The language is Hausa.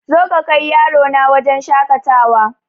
Zo ka kai yarona wajen shakatawa